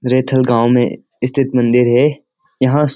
रैथल गांव में स्थित मंदिर है यहां --